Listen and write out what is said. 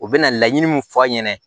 U bɛ na laɲini min fɔ a ɲɛna